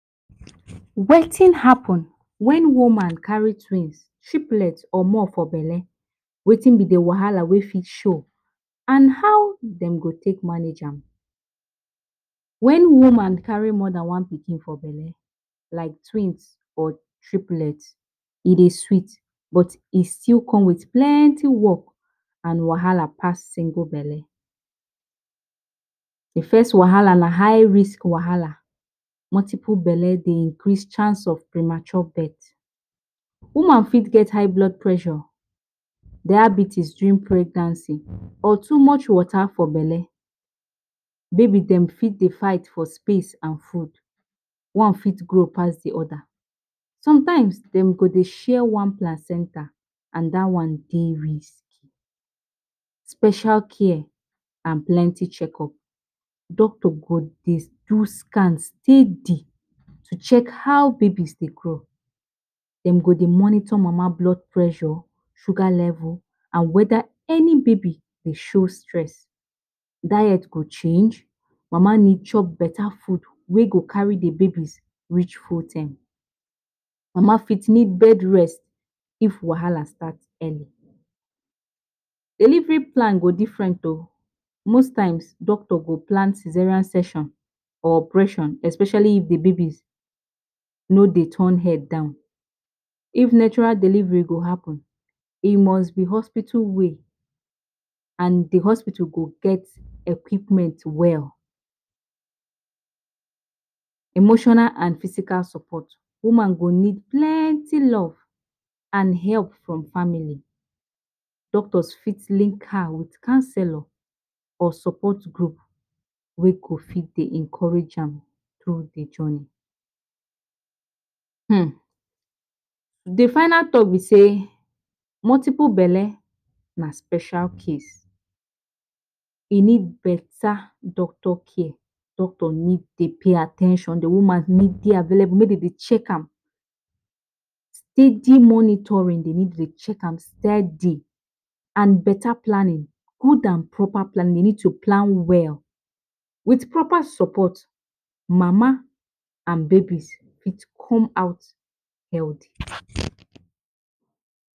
Wetin happen wen woman carry twins, triplets or more for belle, Wetin b d wahala wey fit show and how dem go take manage am, wen woman carry more Dan one pikin for belle like twins or triplets e dey sweet but e still come with plenty work and wahala pass single belle, d first wahala na high risk wahala, multiple belle Dey increase chance of premature birth, woman fit get high blood pressure, diabetes during pregnancy or too much water for belle, baby dem fit dey fight for space and food, one fit grow pass d oda, sometimes dem go Dey share one placenta and dat one Dey risky, special care and plenty check up, doctor go Dey do scan steady to check how babies Dey grow dem go Dey monitor mama blood pressure, sugar level and weda any baby Dey show stress, diet go change, mama need chop beta foods wey go carry d babies reach full term, mama fit need bed rest of wahala start early, delivery plan go different oh, most times doctor go plan Caesarian section or operation especially, if d baby no Dey turn head down, if natural delivery must happen e must b hospital way and d hospital go get equipment well, Emotional and physical support, woman go need plenty love and help from family, doctor for link her with counselor or support group wey go fit Dey encourage an tru d journey, um d final talk b say multiple belle na special case, e need beta doctor care, doctor need dey pay at ten tion if woman need Dey available make dem dey check am, steady monitoring dem need Dey check am steady, and beta planning good and proper plannin, dem need to plan well with proper support mama and babies go come out healthy.